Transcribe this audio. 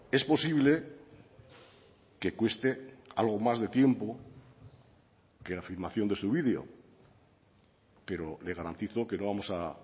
es posible que cueste algo más de tiempo que la afirmación de su video pero le garantizo que no vamos a